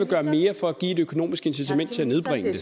gøre mere for at give et økonomisk incitament til